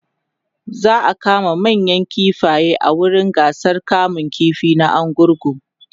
za'a kama manayan kifaye a wurin gasar kamun ƙifi na argungu